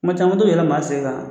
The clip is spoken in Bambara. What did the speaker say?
Maa caman bɛ tɔ ka yɛlɛn maa sen kan